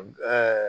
Ɛɛ